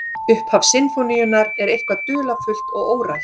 Upphaf sinfóníunnar er dularfullt og órætt.